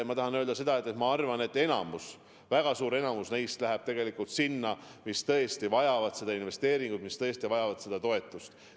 Ma tahan öelda seda, et minu arvates väga suur enamik sellest rahast läheb sinna, kus tõesti vajatakse seda investeeringut, seda toetust.